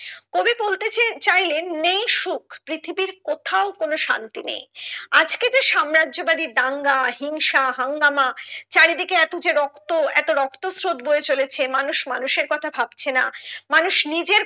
কবি বলতে চেয়ে চাইলেন নেই সুখ পৃথিবীর কোথাও কোনো শান্তি নেই আজকে যে সাম্রাজ্য বাদী দাঙ্গা হিংসা হাঙ্গামা চারিদিকে এতো যে রক্ত এতো রক্ত স্রোত বয়ে চলেছে মানুষ মানুষের কথা ভাবছে না মানুষ নিজের